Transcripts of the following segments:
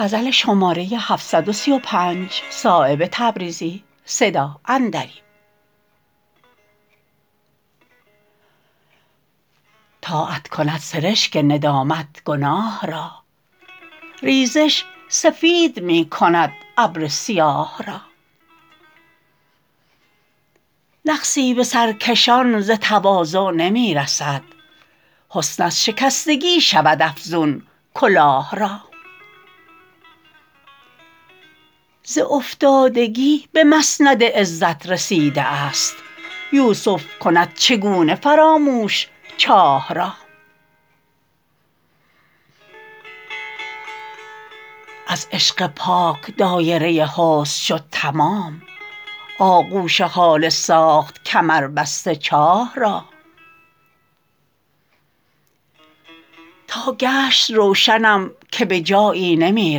طاعت کند سرشک ندامت گناه را ریزش سفید می کند ابر سیاه را نقصی به سرکشان ز تواضع نمی رسد حسن از شکستگی شود افزون کلاه را ز افتادگی به مسند عزت رسیده است یوسف کند چگونه فراموش چاه را از عشق پاک دایره حسن شد تمام آغوش هاله ساخت کمربسته چاه را تا گشت روشنم که به جایی نمی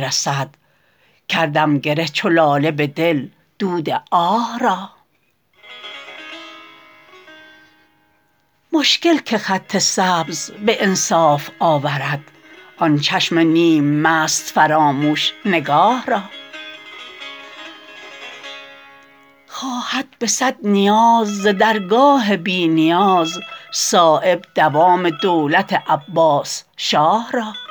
رسد کردم گره چو لاله به دل دود آه را مشکل که خط سبز به انصاف آورد آن چشم نیم مست فراموش نگاه را خواهد به صد نیاز ز درگاه بی نیاز صایب دوام دولت عباس شاه را